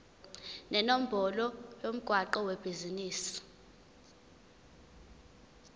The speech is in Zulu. nenombolo yomgwaqo webhizinisi